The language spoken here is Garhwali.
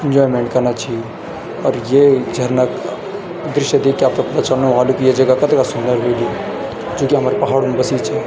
एंजॉयमेंट कना छी और ये झरना क दृश्य देख के आपते पता चलनु ह्वालु कि या जगा कतका सुंदर ह्वेली जु कि हमर पहाडू म बसीं च।